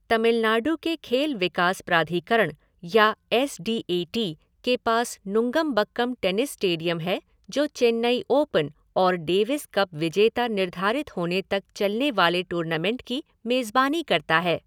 तमिलनाडु के खेल विकास प्राधिकरण या एस डी ए टी के पास नुंगमबक्कम टेनिस स्टेडियम है जो चेन्नई ओपन और डेविस कप विजेता निर्धारित होने तक चलने वाले टूर्नामेंट की मेजबानी करता है।